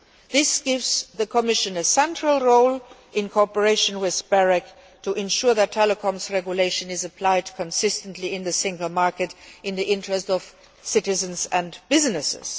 This gives the Commission a central role, in cooperation with BEREC, to ensure that the Telecoms Regulation is applied consistently in the single market in the interests of citizens and businesses.